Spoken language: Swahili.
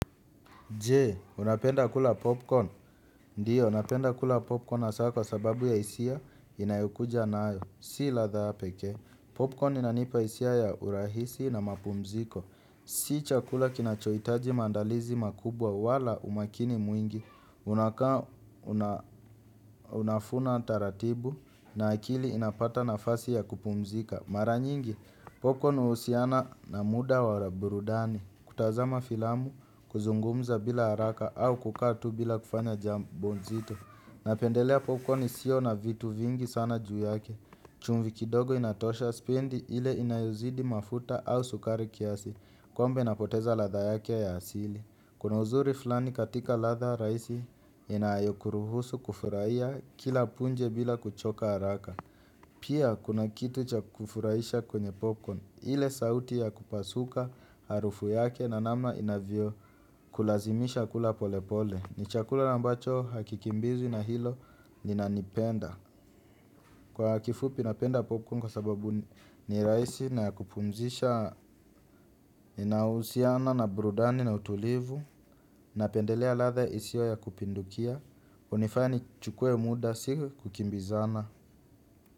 Jee, unapenda kula popcorn? Ndiyo, napenda kula popcorn asa kwa sababu ya hisia inayokuja nayo. Si latha peke. Popcorn inanipa isia ya urahisi na mapumziko. Si chakula kinachoitaji maandalizi makubwa wala umakini mwingi. Unaka, unafuna taratibu na akili inapata nafasi ya kupumzika. Mara nyingi, popcorn uhusiana na muda wa la burudani. Kutazama filamu, kuzungumza bila haraka au kukaa tu bila kufanya jambo nzito. Napendelea popcorn isio na vitu vingi sana juu yake. Chumvi kidogo inatosha spendi ile inayozidi mafuta au sukari kiasi. Kwambe napoteza latha yake ya asili. Kuna uzuri fulani katika latha raisi inayokuruhusu kufuraia kila punje bila kuchoka haraka. Pia kuna kitu cha kufuraiisha kwenye popcorn. Ile sauti ya kupasuka harufu yake na namna inavyo kulazimisha kula pole pole. Ni chakula ambacho hakikimbizwi na hilo ni nanipenda. Kwa kifupi napenda popcorn kwa sababu ni raisi na ya kupumzisha inahusiana na burudani na utulivu. Napendelea latha isio ya kupindukia. Unifanya nichukue muda si kukimbizana.